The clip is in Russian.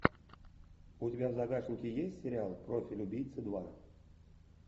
у тебя в загашнике есть сериал профиль убийцы два